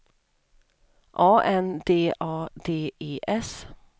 A N D A D E S